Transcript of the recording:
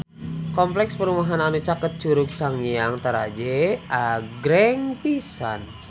Kompleks perumahan anu caket Curug Sanghyang Taraje agreng pisan